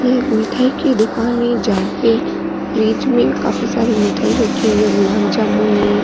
ये एक मिठाई की दुकान है जहा पे फ्रिज में काफी सारी मिठाई रखी हुई है गुलाब जामुन है।